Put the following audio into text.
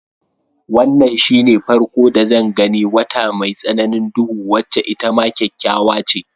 Wannan shine farko da zan gani wata mai tsananin duhu wacce itama kyakkyawa ce.